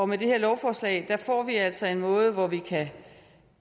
med det her lovforslag får vi altså en måde hvorpå vi både kan